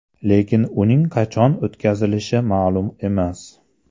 Lekin uning qachon o‘tkazilishi ma’lum emas.